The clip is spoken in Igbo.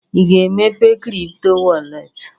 Ị ga-emepe kripto wọrlet?